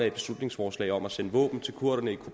et beslutningsforslag om at sende våben til kurderne i